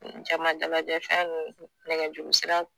N Jama dalajɛfɛn nunnu nɛgɛjuruseraw